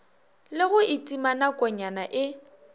le go itima nakonyana e